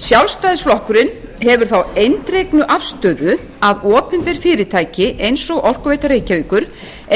sjálfstæðisflokkurinn hefur þá eindregnu afstöðu að opinber fyrirtæki eins og orkuveita reykjavíkur